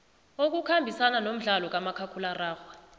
okukhambisana nomdlalo kamakhakhulararhwe